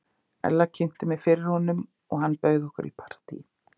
Ella kynnti mig fyrir honum og hann bauð okkur í partí.